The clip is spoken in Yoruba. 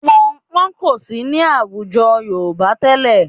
Pọnnpọ́n kò sí ní àwùjọ Yorùbá tẹ́lẹ̀